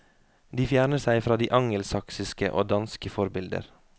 De fjerner seg fra de angelsaksiske og danske forbilder.